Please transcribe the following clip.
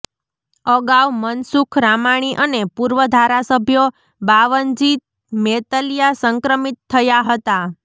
અગાઉ મનસુખ રામાણી અને પૂર્વ ધારાસભ્ય બાવનજી મેતલીયા સંક્રમિત થયા હતા